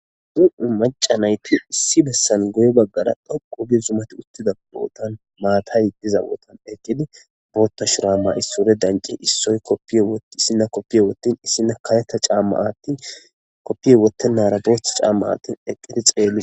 Macha nayti issi bessan guye bagara dhoqu gi zuman hutida botan matay diza botan bota mayo mayi sure danchidi issina kopiya wotin esina kareta chama atin kopiya wetenara botha chama atin eqidi xeletishe.